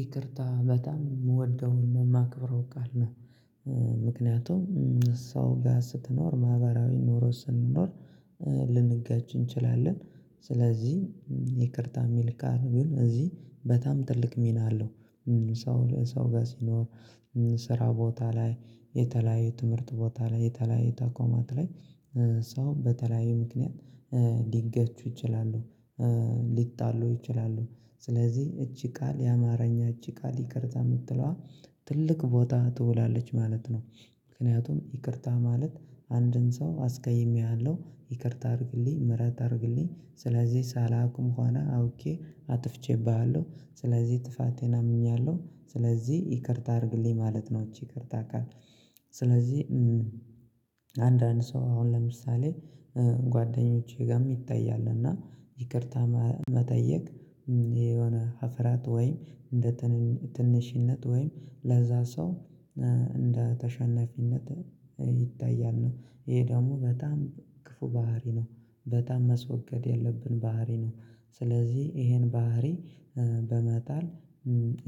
ይቅርታ በጣም የምወደውን የማክብረው ቃል ነው። ምክንያቱም ሰው ያስተኖር ማህበራዊ ኖሮ ስንኖር ልንጋጭ እንችላለን። ስለዚህ ይቅርታ የሚል ካር ግን እዚህ በጣም ትልቅ ሚና አለው። ሰው ሰው ጋር ሲኖር። ስራ ቦታ ላይ የተለያዩ ትምህርት ቦታ ላይ የተለያዩ ተቋማት ላይ። ሰው በተለያዩ ምክንያት ሊገቹ ይችላሉ። ሊጣሉ ይችላሉ። ስለዚህ እቺ ቃል የአማርኛ እቺ ቃል ይቅርታ የምትለዋ ትልቅ ቦታ ትውላለች ማለት ነው። ምክንያቱም ይቅርታ ማለት አንድን ሰው አስቀይሜሃለሁ ይቅርታ አድርግልኝ ምህረት አድርግልኝ ስለዚህ ሳላውቅም ኋላ አውቄ አጥፍቼብሃለሁ ስለዚህ ጥፋቴን አምኛለሁ ስለዚህ ይቅርታ አድርግልኝ ማለት ነው። ይቅርታ አካል። ስለዚህ አንዳንድ ሰው አሁን ለምሳሌ ጓደኞቼ ጋር ይታያል። እና ይቅርታ መጠየቅ የሆነ ሀፍራት ወይም እንደ ትንሽነት ወይም ለዛ ሰው እንደ ተሸናፊነት ይታያል ነው። ይሄ ደግሞ በጣም ክፉ ባህሪ ነው። በጣም መስወገድ ያለብን ባህሪ ነው። ስለዚህ ይሄን ባህሪ በመጣል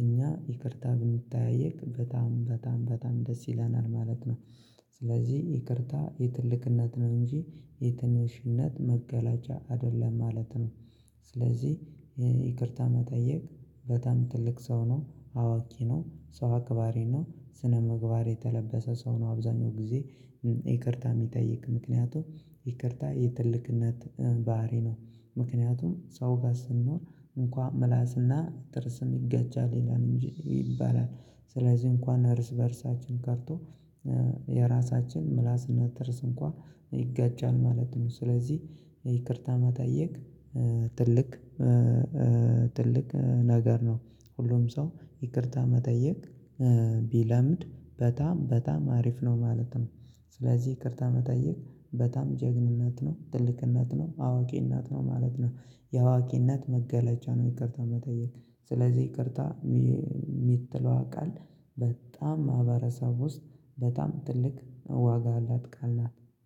እኛ ይቅርታ ብንተያየቅ በጣም በጣም በጣም ደስ ይለናል ማለት ነው። ስለዚህ ይቅርታ የትልቅነት ነው እንጂ የትንሽነት መገለጫ አይደለም ማለት ነው። ስለዚህ ይቅርታ መጠየቅ በጣም ትልቅ ሰው ነው አዋቂ ነው። ሰው አክባሬ ነው። ስነምግባር የተላበሰ ሰው ነው። አብዛኛው ጊዜ ይቅርታ የሚጠይቅ ምክንያቱም ይቅርታ የትልቅነት ባህሪ ነው። ምክንያቱም ሰው ጋር ስንኖር እንኳን ምላስና ጥርስም ይገቻል ይላል እንጂ ይባላል። ስለዚህ እንኳን እርስ በእርሳችን ቀርቶ የራሳችን ምላስነት ድርስ እንኳን ይጋጫል ማለት ነው። ስለዚህ ይቅርታ መጠየቅ ትልቅ ትልቅ ነገር ነው። ሁሉም ሰው ይቅርታ መጠየቅ ቢለምድ በጣም በጣም አሪፍ ነው። ማለትም ስለዚህ ይቅርታ መጠየቅ በጣም ጀግንነት ነው ትልቅነት ነው አዋቂነት ነው ማለት ነው። የአዋቂነት መገለጫ ነው። ይቅርታ መጠየቅ ስለዚህ ይቅርታ የሚጥለዋ ቃል በጣም ማህበረሰብ ውስጥ በጣም ትልቅ ዋጋ አላጥቃል ናት።